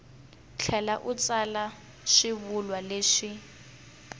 tlhela u tsala swivulwa leswi